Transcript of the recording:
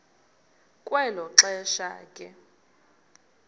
kwelo xesha ke